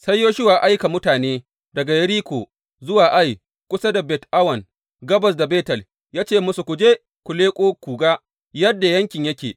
Sai Yoshuwa ya aika mutane daga Yeriko zuwa Ai kusa da Bet Awen gabas da Betel, ya ce musu, Ku je ku leƙo ku ga yadda yankin yake.